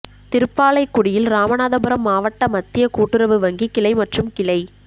திருப்பாலைக்குடியில் ராமநாதபுரம் மாவட்ட மத்திய கூட்டுறவு வங்கி கிளை மற்றும் கிளை